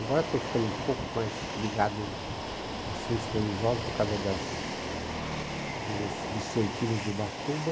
Agora estou ficando um pouco mais ligado assuntos religiosos por causa das dos vicentinos de Ubatuba.